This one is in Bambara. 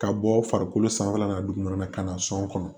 Ka bɔ farikolo sanfɛla la dugu wɛrɛ la ka na sɔn kɔnɔ